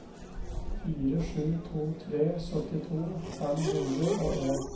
fire sju to tre syttito fem hundre og en